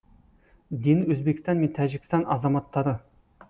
дені өзбекстан мен тәжікстан азаматтары